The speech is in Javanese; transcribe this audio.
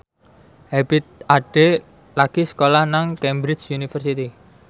Ebith Ade lagi sekolah nang Cambridge University